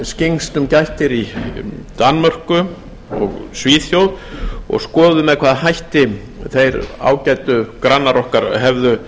skyggnst um gættir í danmörku og svíþjóð og skoðað með hvaða hætti þeir ágætu grannar okkar hefðu